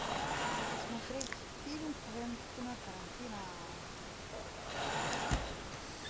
посмотреть фильм квентина тарантино